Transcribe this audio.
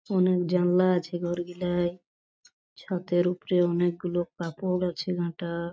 অনেক জানলা আছে ঘরগিলা-আ-য় ছাতের উপরে অনেকগুলো কাপড় আছে ঘাটা-আ ।